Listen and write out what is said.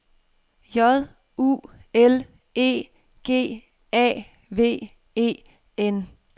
J U L E G A V E N